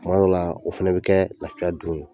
Tuma dɔ la, o fɛnɛ bi kɛ lafiya don ye.